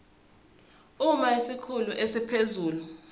uma isikhulu esiphezulu